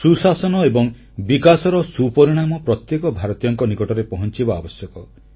ସୁଶାସନ ଏବଂ ବିକାଶର ସୁପରିଣାମ ପ୍ରତ୍ୟେକ ଭାରତୀୟଙ୍କ ନିକଟକୁ ପହଂଚିବା ଆବଶ୍ୟକ